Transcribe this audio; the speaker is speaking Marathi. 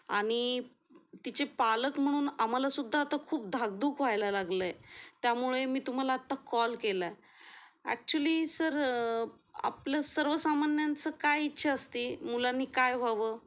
आणि तिचे पालक म्हणून आम्हाला सुद्धा खूप धाकधूक व्हायला लागलय. त्यामुळे मी तुम्हाला कॉल केला एक्चूअली सर आपलं सर्वसामान्यांचं काय इच्छा असते मुलांनी काय व्हावं.